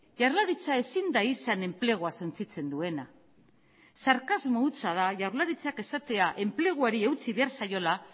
jaurlaritza ezin da izan enplegua suntsitzen duena sarkasmo hutsa da jaurlaritzak esatea enpleguari eutsi behar zaiola